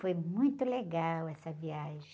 Foi muito legal essa viagem.